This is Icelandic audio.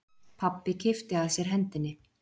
Pabbi kippti að sér hendinni.